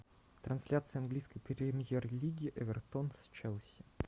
трансляция английской премьер лиги эвертон с челси